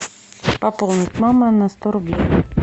пополнить мама на сто рублей